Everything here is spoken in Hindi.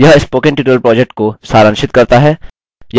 यह spoken tutorial project को सारांशित करता है